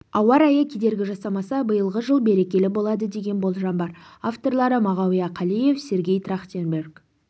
ауа райы кедергі жасамаса биылғы жыл берекелі болады деген болжам бар авторлары мағауия қалиев сергей трахтенберг